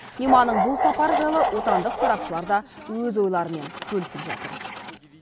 мейманның бұл сапары жайлы отандық сарапшылар да өз ойларымен бөлісіп жатыр